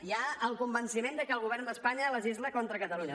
hi ha el convenciment que el govern d’espanya legisla contra catalunya